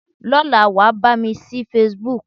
Lọ́la, wàá bá mi ṣí Facebook.